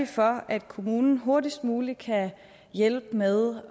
for at kommunen hurtigst muligt kan hjælpe med